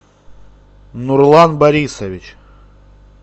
нурлан борисович